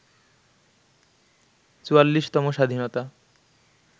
৪৪তম স্বাধীনতা